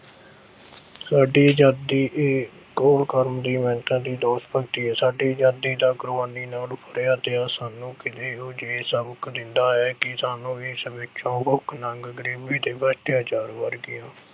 ਸਾਡੀ ਆਜ਼ਾਦੀ ਇਹ ਅਹ ਘੋਲ ਸਾਡੀ ਆਜ਼ਾਦੀ ਦਾ ਕੁਰਬਾਨੀ ਨਾਲ ਸਾਨੂੰ ਇਹੋ-ਜਿਹੇ ਸਬਕ ਦਿੰਦਾ ਹੈ ਕਿ ਸਾਨੂੰ ਵੀ ਇਸ ਵਿੱਚੋਂ ਭੁੱਖ-ਨੰਗ, ਗਰੀਬੀ ਤੇ ਅੱਤਿਆਚਾਰ ਵਰਗੀਆਂ